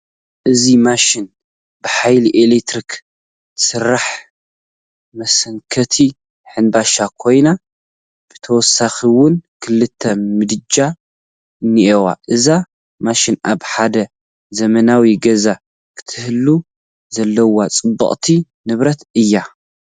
እዛ ማሽን ብሓይሊ ኤለክትሪክ ትሰርሕ መሰንከቲ ሕንባሻ ኮይና ብተወሳኺውን ክልተ ምድጃ ኣኔውዋ፡፡ እዛ ማሽን ኣብ ሓደ ዘመናዊ ገዛ ክትህሉ ዘለዋ ፅብቕቲ ንብረት እያ፡፡